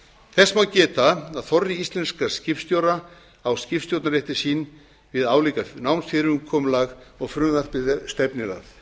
þess má geta að þorri íslenskra skipstjóra á skipstjórnarréttindi sín við álíka námsfyrirkomulag og frumvarpið stefnir að